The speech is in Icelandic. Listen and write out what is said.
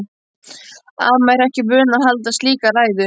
Amma er ekki vön að halda slíka ræðu.